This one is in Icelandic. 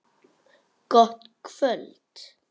Gott kvöld.